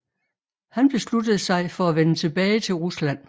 Han besluttede sig for at vende tilbage til Rusland